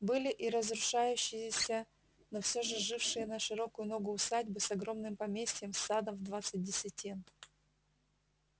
были и разрушающиеся но всё же жившие на широкую ногу усадьбы с огромным поместьем с садом в двадцать десятин